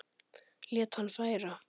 Lét hann færa